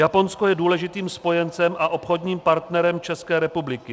Japonsko je důležitým spojencem a obchodním partnerem České republiky.